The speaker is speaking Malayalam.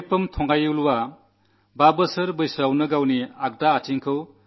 മാരിയപ്പൻ തങ്കവേലു ഹൈജമ്പിൽ സ്വർണ്ണമെഡൽ നേടി